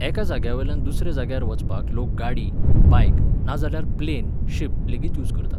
एका जाग्यावेल्यान दुसऱ्या जाग्यार वचपाक लोक गाडी, बायक, नाजाल्यार प्लेन, शीप लेगीत यूज करतात.